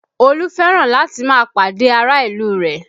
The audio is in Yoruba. Olú fẹ́ràn láti máa pàdé ará ìlú rẹ̀